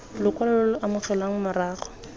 lokwalo lo lo amogelwang morago